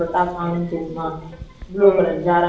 அப்படித்தான் நான் சொல்லுறேன். கொஞ்சம் free யாவும் இருக்கும்.